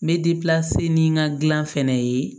N bɛ ni n ka gilan fɛnɛ ye